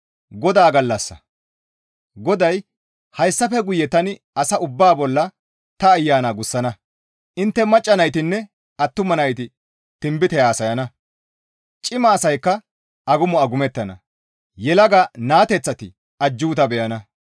GODAY, «Hayssafe guye tani asa ubbaa bolla ta Ayana gussana; intte macca naytinne attuma nayti tinbite haasayana; cima asaykka agumo agumettana; yelaga naateththati ajjuuta beyana.